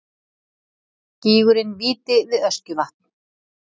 gígurinn víti við öskjuvatn